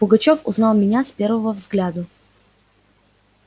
пугачёв узнал меня с первого взгляду